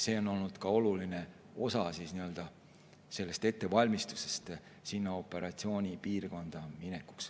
See on olnud ka oluline osa ettevalmistusest operatsioonipiirkonda minekul.